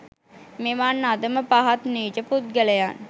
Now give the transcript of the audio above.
මෙවන් අධම පහත් නීච පුද්ගලයන්